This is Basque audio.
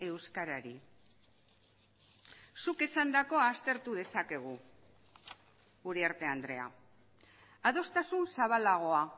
euskarari zuk esandakoa aztertu dezakegu uriarte andrea adostasun zabalagoa